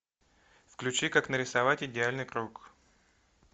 включи как нарисовать идеальный круг